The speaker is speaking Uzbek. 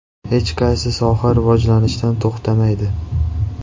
Hech qaysi soha rivojlanishdan to‘xtamaydi.